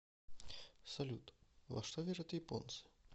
салют во что верят японцы